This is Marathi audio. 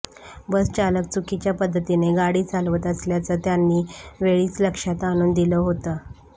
बसचालक चुकीच्या पद्धतीने गाडी चालवत असल्याचं त्यांनी वेळीच लक्षात आणून दिलं होतं